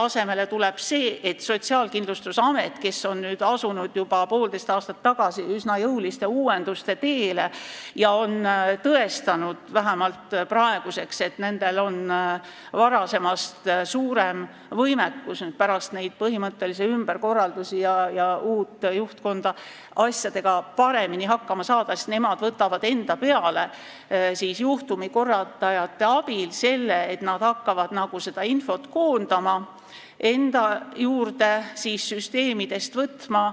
Asemele tuleb see, et Sotsiaalkindlustusamet, kes juba poolteist aastat tagasi asus üsna jõuliste uuenduste teele ja on tõestanud, vähemalt praeguseks, et neil on pärast neid põhimõttelisi ümberkorraldusi ja uue juhtkonna ametisse asumist varasemast suurem võimekus asjadega hakkama saada, võtab juhtumikorraldajate abil enda peale selle, et nad hakkavad seda infot enda juurde koondama, seda süsteemidest välja võtma.